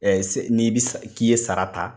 n'i bɛ k'i ye sara ta.